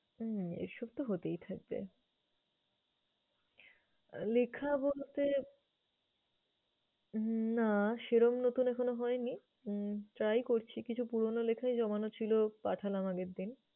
হম এসব তো হতেই থাকবে। লেখা বলতে না সেরম নতুন এখনো হয় নি। হম try করছি। কিছু পুরোনো লেখাই জমানো ছিল পাঠালাম আগের দিন।